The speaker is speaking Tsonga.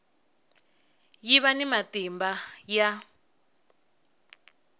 yi va ni matimba ya